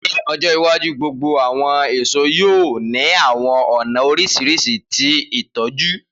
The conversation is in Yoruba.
Ni ọjọ iwaju, gbogbo awọn eso yoo ni awọn ọna oriṣiriṣi ti itọju.